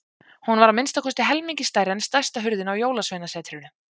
Hún var að minnsta kosti helmingi stærri en stærsta hurðin á Jólasveinasetrinu.